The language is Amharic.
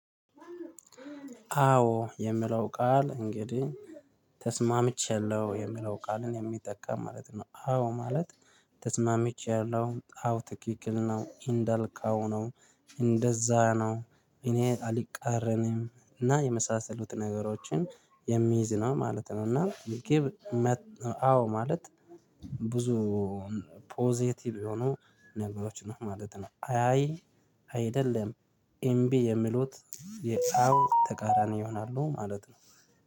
አዎ የሚለው ቃል እንግዲህ ተስማምቻለሁ የምለው ቃልን የሚጠቀም ማለት ነው። አዎ ማለት ተስማምቻለሁ አዎ ትክክል ነው እንዳልካው ነው እንደዛ ነው እኔ አልቃረንም እና የመሳሰሉት ነገሮችን የሚይዝ ነው ማለት ነው እና አዎ ማለት ብዙ ፖዘቲቭ የሆኑ ነገሮች ነው ማለት ነው። አይ አይ አይደለም እምቢ የሚሉት የአዎ ተቃራኒ ይሆናሉ ማለት ነው